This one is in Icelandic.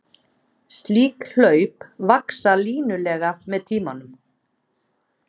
Slík hlaup vaxa línulega með tíma.